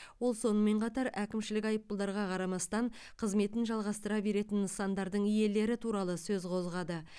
ол сонымен қатар әкімшілік айыппұлдарға қарамастан қызметін жалғастыра беретін нысандардың иелері туралы сөз қозғады